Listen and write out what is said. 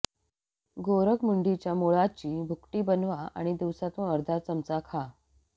गोरखमुंडीच्या मुळाची भुकटी बनवा आणि दिवसातून एकदा अर्धा चमचा खा